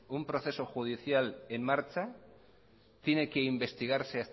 un proceso judicial en marcha tiene que investigarse